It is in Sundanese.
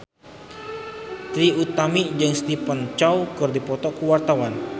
Trie Utami jeung Stephen Chow keur dipoto ku wartawan